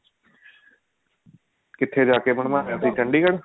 ਕਿੱਥੇ ਜਾ ਕੇ ਬਣਵਾਇਆ ਸੀ